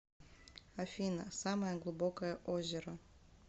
афина самое глубокое озеро